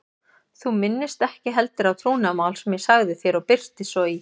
Þú minnist ekki heldur á trúnaðarmál sem ég sagði þér og birtist svo í